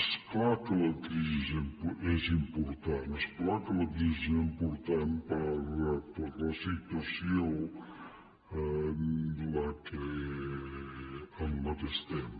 és clar que la crisi és important és clar que la crisi és important per la situació en què estem